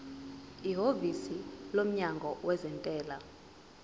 ihhovisi lomnyango wezentela